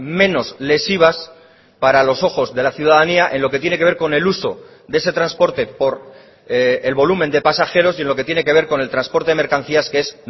menos lesivas para los ojos de la ciudadanía en lo que tiene que ver con el uso de ese transporte por el volumen de pasajeros y en lo que tiene que ver con el transporte de mercancías que es